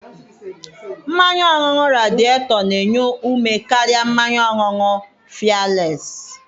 Mmanya ọṅụṅụ Radieto na-enye ume karịa mmanya ọṅụṅụ fịeles